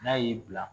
N'a y'i bila